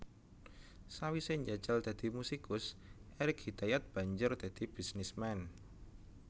Sawisé njajal dadi musikus Erik Hidayat banjur dadi bisnisman